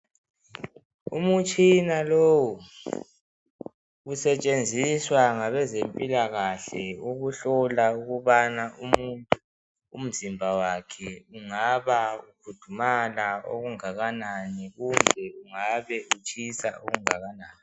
Umutshina lowu usetshenziswa ngabezempilakahle ukuhlola ukubana umzimba wakhe ungaba ukhudumala okungakanani kumbe ungaba utshisa okungakanani.